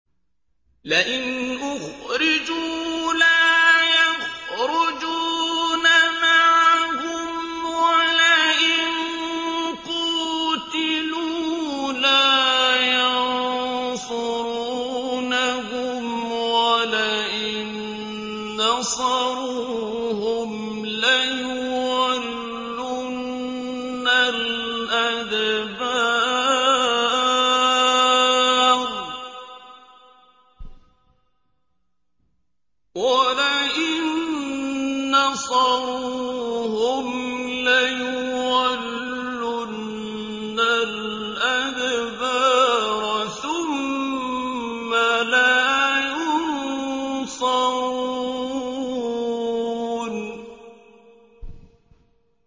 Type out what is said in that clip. لَئِنْ أُخْرِجُوا لَا يَخْرُجُونَ مَعَهُمْ وَلَئِن قُوتِلُوا لَا يَنصُرُونَهُمْ وَلَئِن نَّصَرُوهُمْ لَيُوَلُّنَّ الْأَدْبَارَ ثُمَّ لَا يُنصَرُونَ